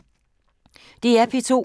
DR P2